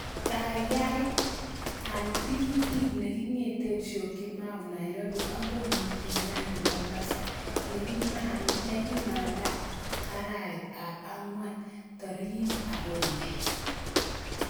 Kaigaigai al tikitit nekingeten syokimau nairobi akoi mikindani mombasa nekimandaa araet ap angwan tarikit agenge